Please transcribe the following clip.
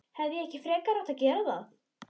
Hefði ég ekki frekar átt að gera það?